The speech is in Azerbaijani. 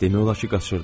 Demək olar ki, qaçırdım.